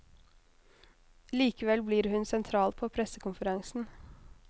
Likevel blir hun sentral på pressekonferansen.